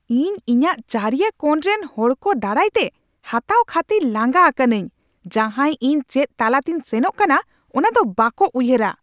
ᱤᱧ ᱤᱧᱟᱹᱜ ᱪᱟᱹᱨᱤᱭᱟᱹ ᱠᱚᱬ ᱨᱮᱱ ᱦᱚᱲ ᱠᱚ ᱫᱟᱨᱟᱭᱛᱮ ᱦᱟᱛᱟᱣ ᱠᱷᱟᱹᱛᱤᱨ ᱞᱟᱸᱜᱟ ᱟᱠᱟᱱᱟᱹᱧ ᱡᱟᱦᱟᱭ ᱤᱧ ᱪᱮᱫ ᱛᱟᱞᱟᱛᱤᱧ ᱥᱮᱱᱚᱜ ᱠᱟᱱᱟ ᱚᱱᱟ ᱫᱚ ᱵᱟᱠᱚ ᱩᱭᱦᱟᱹᱨᱟ ᱾